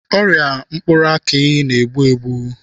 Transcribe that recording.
Ọrịa mkpụrụ akị na-egbu egbu.